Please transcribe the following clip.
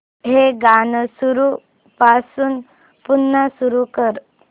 हे गाणं सुरूपासून पुन्हा सुरू कर